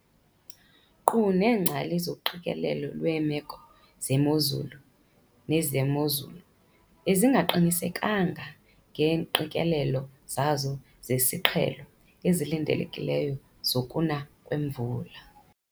NKQU NEENGCALI ZOQIKELELO LWEEMEKO ZEMOZULU NEZEMOZULU BEZINGAQINISEKANGA NGEENGQIKELELO ZAZO ZEZIQHELO EZILINDELEKILEYO ZOKUNA KWEMVULA.